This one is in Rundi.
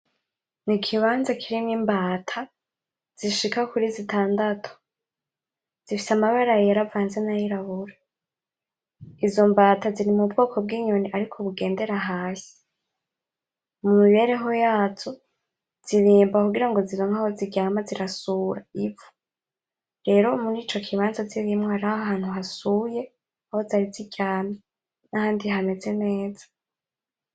N'ikibanza kirimwo imbata zishika kuri zitandatu. Zifise amabara yera avanze n'ayirabura. Izo mbata ziri mubwoko bw'inyoni ariko bugendera hasi. Mumibereho yazo zirimba kugira zironke aho ziryama zirasura ivu. Rero mur'icokibanza zirimwo hariho ahantu hasuye aho zari ziryamye, n'ahabdi hameze neza.